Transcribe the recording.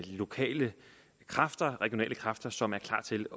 lokale kræfter regionale kræfter som er klar til